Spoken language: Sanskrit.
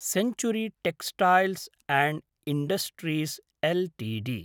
century textiles and industries Ltd